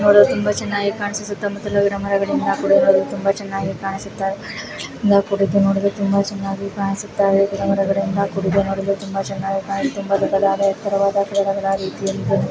ನೋಡಲು ತುಂಬಾ ಚೆನ್ನಾಗಿ ಕಾಣಿಸುತ್ತೆ ಸುತ್ತಲೂ ಗಿಡ ಮರಗಳಿಂದ ಗಿಡ ಮರ್ಗಳಿಂದ ಕೂಡಿದೆ. ನೋಡಲು ತುಂಬ ವೇನ್ನಾಗಿ ಕಾಣಿಸುತ್ತಿದೆ ತುಂಬ ದೊಡ್ಡದಾದ ಎತ್ತರವಾದ --